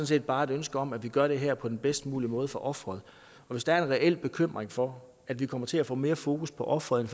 set bare et ønske om at vi gør det her på den bedst mulige måde for offeret og hvis der er en reel bekymring for at vi kommer til at få mere fokus på offeret